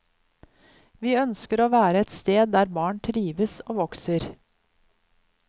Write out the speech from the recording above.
Vi ønsker å være et sted der barn trives og vokser.